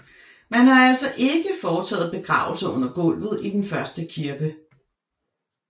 Man har altså ikke foretaget begravelser under gulvet i den første kirke